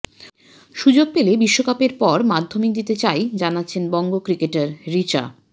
সুযোগ পেলে বিশ্বকাপের পর মাধ্যমিক দিতে চাই জানাচ্ছেন বঙ্গ ক্রিকেটার রিচা